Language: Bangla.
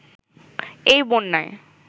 এই বন্যায়